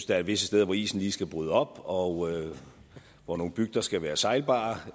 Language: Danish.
der er visse steder hvor isen lige skal bryde op og hvor nogle bygder skal være sejlbare